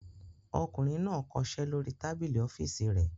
Ọkùnrin náà kọṣẹ́ lórí tábìlì ọ́fíísì rẹ̀.